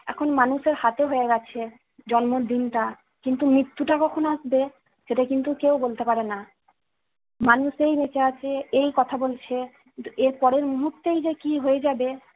এখন মানুষের হাতে হয়ে গেছে জন্মদিনটা, কিন্তু মৃত্যুটা কখন আসবে সেটা কিন্তু কেউ বলতে পারে না। মানুষ এই বেঁচে আছে, এই কথা বলছে, এর পরের মুহূর্তেই যে কি হয়ে যাবে